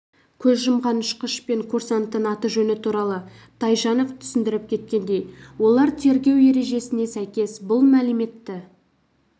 көз жұмған ұшқыш пен курсанттың аты-жөні туралы тайжанов түсіндіріп кеткендей олар тергеу ережесіне сәйкес бұл мәліметті